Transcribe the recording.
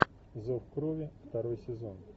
зов крови второй сезон